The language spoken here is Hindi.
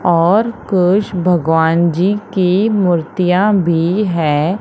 और कुछ भगवानजी की मूर्तियां भी है।